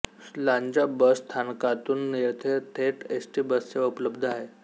Lanja bus स्थानकातून येथे थेट एसटी बससेवा उपलब्ध आहे